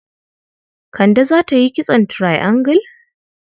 Kande za ta yi kitson triangle?